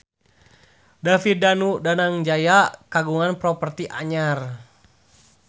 David Danu Danangjaya kagungan properti anyar